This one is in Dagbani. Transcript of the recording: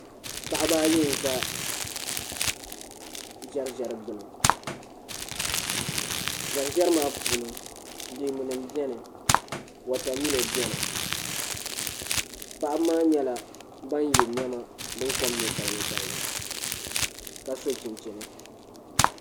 Paɣaba ayi n ʒɛ ʒɛriʒɛri gbuni ʒɛriʒɛri maa puuni leemu nim biɛni wotamilo biɛni paɣaba maa nyɛla ban yɛ niɛma din kom nyɛ balibu balibu ka so chinchini